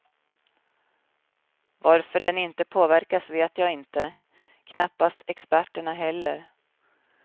Varför den inte påverkas vet jag inte, knappast experterna heller.